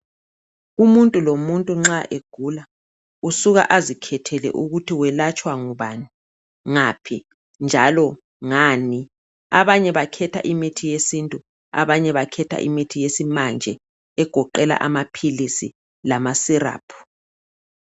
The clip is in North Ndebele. Umuntu lomuntu nxa egula usuka azikhethele ukuthi welatshwa ngubani, ngaphi njalo ngani. Abanye bakhetha imithi yesintu abanye bakhetha imithi yesimanje egoqela amapilisi lamasirapu.